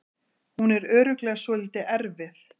Hún er örugglega svolítið erfið.